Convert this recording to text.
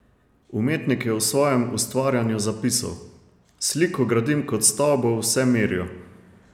Umetnik je o svojem ustvarjanju zapisal: "Sliko gradim kot stavbo v vsemirju.